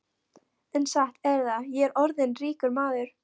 En satt er það, ég er orðinn ríkur maður.